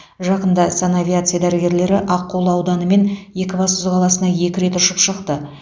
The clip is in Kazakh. жақында санавиация дәрігерлері аққулы ауданы мен екібастұз қаласына екі рет ұшып шықты